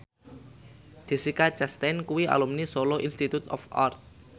Jessica Chastain kuwi alumni Solo Institute of Art